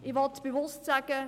Ich will bewusst sagen: